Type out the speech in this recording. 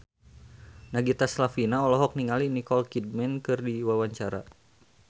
Nagita Slavina olohok ningali Nicole Kidman keur diwawancara